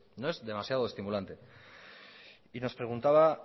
no es demasiado estimulante y nos preguntaba